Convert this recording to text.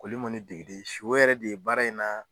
Koli in ŋɔni degeden si o yɛrɛ de baara in na